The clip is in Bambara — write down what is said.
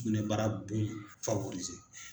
Sugunɛbara bon in